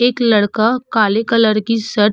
एक लड़का काले कलर की शर्ट --